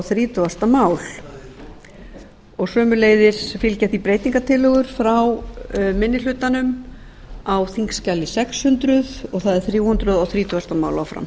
þrítugustu mál sömuleiðis fylgja því breytingartillögur frá minni hlutanum á þingskjali sex hundruð og það er þrjú hundruð þrítugustu mál áfram